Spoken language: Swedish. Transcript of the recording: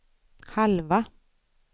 halva